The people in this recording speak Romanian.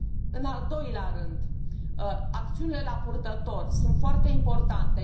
În al doilea rând, acțiunile la purtător sunt foarte importante.